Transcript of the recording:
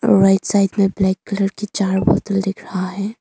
Right side में black colour का चार बोतल दिख रहा है।